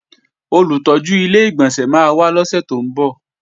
Olùtọ́jú Ilé-ìgbọ̀nsẹ̀ máa wá lọ́sè tó ń bọ̀